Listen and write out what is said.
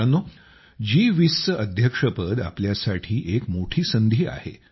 मित्रांनो जी20 चे अध्यक्षपद आमच्यासाठी एक मोठी संधी आहे